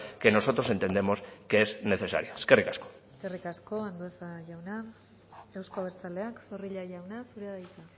que nosotros entendemos que es necesaria eskerrik asko eskerrik asko andueza jauna euzko abertzaleak zorrilla jauna zurea da hitza